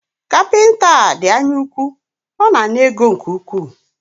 Kapịnta a dị anya úkwú, ọ na ana ego nke ukwuu